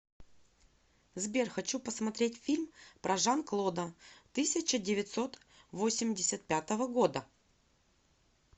сбер хочу посмотреть фильм про жан клода тысяча девятьсот восемьдесят пятого года